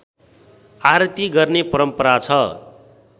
आरती गर्ने परम्परा छ